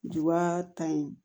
Juba ta in